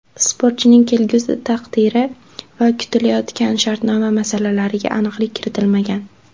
Sportchining kelgusi taqdiri va kutilayotgan shartnoma masalalariga aniqlik kiritilmagan.